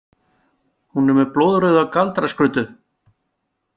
Hún er með blóðrauða galdraskruddu.